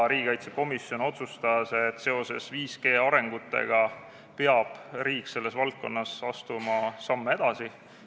Riigikaitsekomisjon otsustas, et seoses 5G arengutega peab riik selles valdkonnas astuma samme edasi.